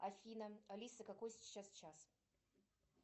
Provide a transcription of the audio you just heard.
афина алиса какой сейчас час